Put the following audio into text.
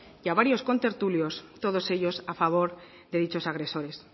y a varios contertulios todos ellos a favor de dichos agresores